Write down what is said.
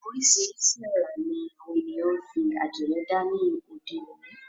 Oríṣìíríṣìí àrà ní àwọn ènìyàn ń fi àdìrẹ dá ní òde òni.